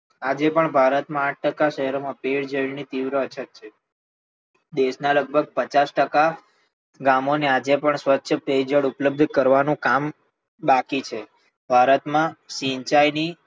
આજે પણ ભારતના આઠ ટકા શહેરોમાં પીય જળની તીવ્ર અછત છે દેશના લગભગ પચાસ ટકા ગામોને આજે પણ સ્વચ્છ પે જળ ઉપલબ્ધ કરવાનું કામ બાકી છે. ભારતમાં સિંચાઈ દીઠ